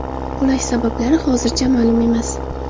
Qulash sabablari hozircha ma’lum emas.